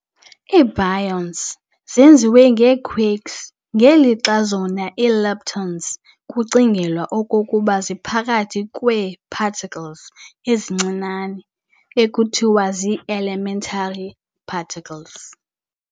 IiBaryons zenziwe ngeequarks ngeli lixa zona ii-Leptons kucingelwa okokuba ziphakathi kwee particles ezincinane, ekuthiwa ziielementary particles.